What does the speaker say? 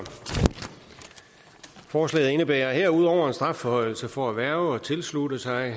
forslaget indebærer herudover en strafforhøjelse for at hverve og tilslutte sig